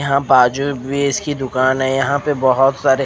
यहाँ बाजू में इसकी दूकान है यहाँ बोहोत सारे--